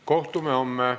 Kohtume homme.